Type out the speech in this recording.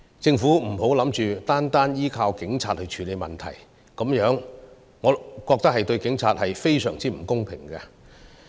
政府不要打算單靠警察去處理問題，我認為這對警察非常不公平。